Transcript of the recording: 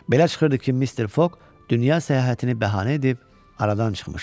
Belə çıxırdı ki, Mister Fog dünya səyahətini bəhanə edib aradan çıxmışdı.